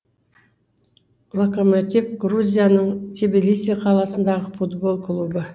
локомотив грузияның тбилиси қаласындағы футбол клубы